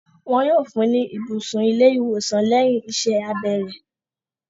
Wọn yóò fún ní ibùsùn ilé-ìwòsàn lẹ́yìn iṣẹ́ abẹ rẹ̀.